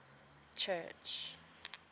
church